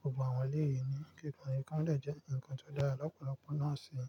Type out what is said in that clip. gbogbo àwọn ilé mi. Ní kíkan, ikán le jẹ́ nǹkan nkan tó dára lọ́pọ̀lọpọ̀ náà si e.